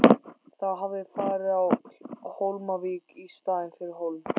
Það hafði farið á Hólmavík í staðinn fyrir Hólm.